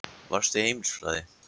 Varstu í heimilisfræði?